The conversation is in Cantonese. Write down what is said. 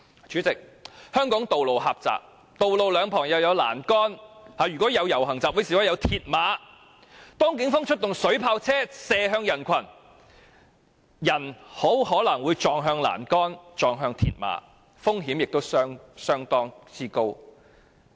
主席，香港的道路狹窄，而道路兩旁亦裝有欄杆甚至鐵馬，所以如果警方在遊行集會示威時出動水炮車射向人群，便很可能會有人撞向欄杆或鐵馬，這是相當危險的。